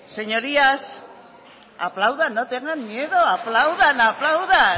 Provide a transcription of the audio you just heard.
señorías aplaudan no tengan miedo aplaudan aplaudan